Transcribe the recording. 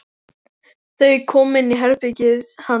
Þau koma inn í herbergið hans.